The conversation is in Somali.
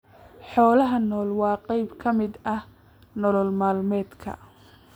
Xoolaha nool waa qayb ka mid ah nolol maalmeedka.